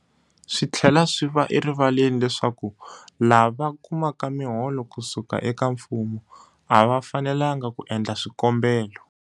Swi tlhela swi va erivaleni leswaku lava kumaka miholo ku suka eka mfumo a va fanelanga ku endla swikombelo.